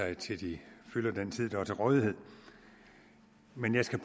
sig til de fylder den tid der er til rådighed men jeg skal